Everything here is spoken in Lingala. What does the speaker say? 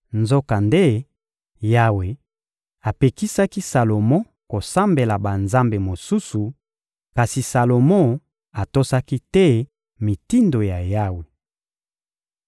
Nzokande, Yawe apekisaki Salomo kosambela banzambe mosusu; kasi Salomo atosaki te mitindo ya Yawe.